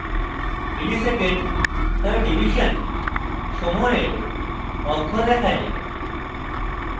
msec/div milli second/division সময়ের অক্ষ দেখায়